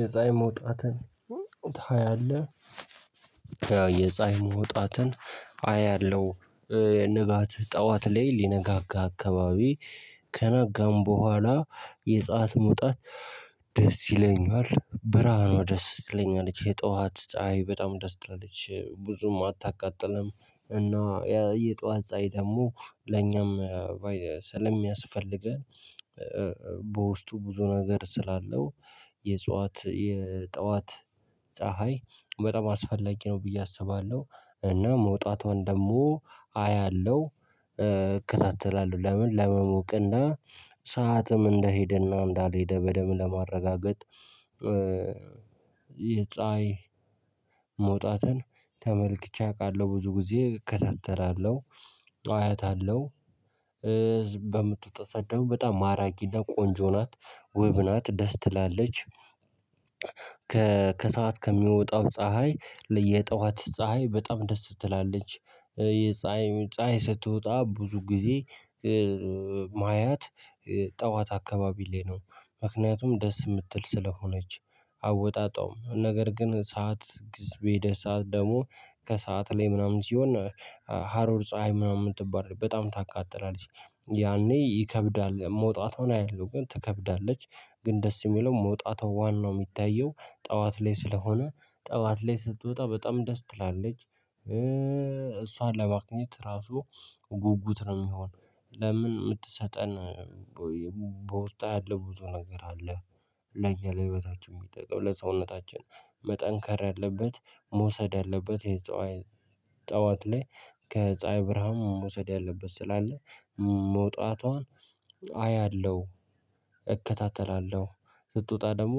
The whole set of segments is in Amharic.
የፀሀይ መውጣትን ታያለህ? የፀሀይ መውጣትን አያለሁ። ንጋት ጠዋት ላይ ሊነጋጋ አካባቢ ከነጋም በኋላ የፀሀይ መሙጣት። ደስ ይለኛል ብርሃኗ ደስ ትለኛለች የጧት ፀሀይ በጣም ደስ ትላለች ብዙም አታቃጥልም እና የጧት ፀሀይ ደግሞ ለኛም ስለሚያስፈልገን። በውስጡ ብዙ ነገር ስላለው የጽዋት የጠዋት ፀሀይ በጣም አስፈላጊ ነው ብዬ አስባለሁ። እና መውጣቷን ደግሞ አያለሁ እከታተላለሁ ለምን ለመሞቅና ሰዓትም እንደሄደና እንዳልሄደ በደንብ ለማረጋገጥ። የፀሀይ መውጣትን ተመልክቼ አውቃለሁ። ብዙ ጊዜ እከታተላለሁ አያታልሁ። በምትወጣ ሰዓት ደግሞ በጣም ማራኪና ቆንጆ ናት ውብ ናት ደስ ትላለች። ከሰአት ከሚወጣው ፀሀይ የየጠዋት ፀሀይ በጣም ደስ ትላለች። የፀሀይ ፀሀይ ስትወጣ ብዙ ጊዜ የማያት ጠዋት አካባቢ ላይ ነው ምክንያቱም ደስ የምትል ስለሆነች። አወጣጧም ነገር ግን ሰዓት ግዜ በሄደ ሰዓት ደግሞ ከሰአት ላይ ምናምን ሲሆን ሀሮር ፀሀይ ምናምን ትባላለች በጣም ታቃጥላለች። ያኔ ይከብዳል መውጣቷን አያለሁ ግን ትከብዳለች። ግን ደስ የሚለው መውጣቷ ዋናው የሚታየው ጠዋት ላይ ስለሆነ ጠዋት ላይ ስትወጣ በጣም ደስ ትላለች። እሷን ለማግኘት ራሱ ጉጉት ነው የሚሆነው። ለምን የምትሰጠን በውስጧ ያለ ብዙ ነገር አለ። ለኛ ለህይወታችን የሚጠቅም ለሰውነታችን መጠንከር ያለበት መውሰድ ያለበት የጸዋይ ጠዋት ላይ። ከፀሀይ ብርሃን መውሰድ ያለበት ስላለ መውጣቷን አያለሁ። እከታተላለሁ ስትወጣ ደግሞ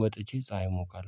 ወጥቼ ፀሀይ እሞቃለሁ